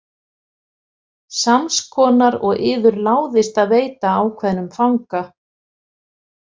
Sams konar og yður láðist að veita ákveðnum fanga.